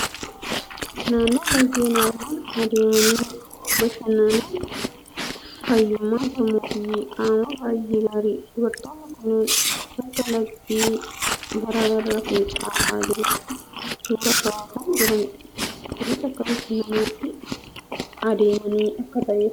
Naannoo laggeen argaman adeemanii bashannanuun fayyummaa sammuu fi qaamaaf baay'ee gaariidha! Dubartoonni kunneen bakka lagdi gaara irraa fincaa'aa jirutti suuraa ka'aa kan jiranidha. Kunis akka bashannanaatti adeemanii akka ta'e ifaadha.